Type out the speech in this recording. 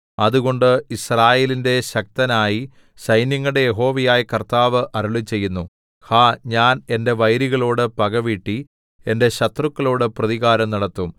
അതുകൊണ്ട് യിസ്രായേലിന്റെ ശക്തനായി സൈന്യങ്ങളുടെ യഹോവയായ കർത്താവ് അരുളിച്ചെയ്യുന്നു ഹാ ഞാൻ എന്റെ വൈരികളോടു പകവീട്ടി എന്റെ ശത്രുക്കളോടു പ്രതികാരം നടത്തും